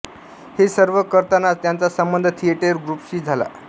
हे सर्व करतानाच त्यांचा संबंध थिएटर ग्रुपशी झाला